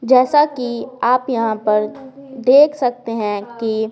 जैसा कि आप यहाँ पर देख सकते हैं कि--